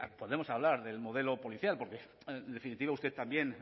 podemos hablar del modelo policial porque en definitiva usted también